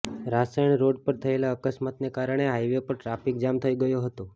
Raysan road પર થયેલા અકસ્માતને કારણે હાઈવે પર ટ્રાફિક જામ થઈ ગયો હતો